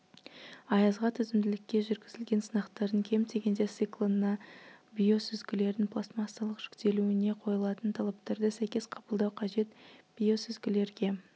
аязға төзімділікке жүргізілген сынақтардың кем дегенде циклына биосүзгілердің пластмассалық жүктелуіне қойылатын талаптарды сәйкес қабылдау қажет биосүзгілерге